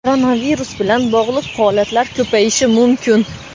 koronavirus bilan bog‘liq holatlar ko‘payishi mumkin.